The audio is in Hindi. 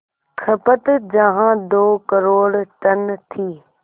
खपत जहां दो करोड़ टन थी